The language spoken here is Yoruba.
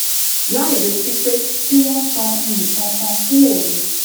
lai retí pé kí wón san nǹkan kan fún òun